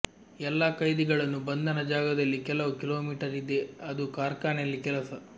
ಎಲ್ಲಾ ಖೈದಿಗಳನ್ನು ಬಂಧನ ಜಾಗದಲ್ಲಿ ಕೆಲವು ಕಿಲೋಮೀಟರ್ ಇದೆ ಅದು ಕಾರ್ಖಾನೆಯಲ್ಲಿ ಕೆಲಸ